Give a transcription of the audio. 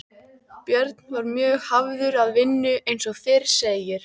Björn var mjög hafður að vinnu eins og fyrr segir.